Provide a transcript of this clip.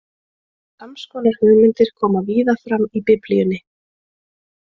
Sams konar hugmyndir koma víða fram í Biblíunni.